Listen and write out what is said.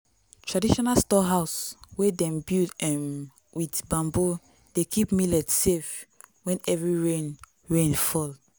traditional storehouse wey dem build um with bamboo dey keep millet safe when heavy rain rain fall.